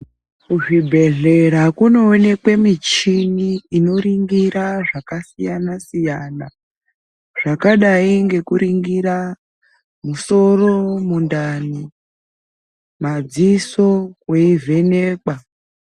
Kuzvibhedhlera kunoonekwe michini inoringira zvakasiyana siyana zvakadai nekuringira musoro, mundani, madziso weivhenekwa.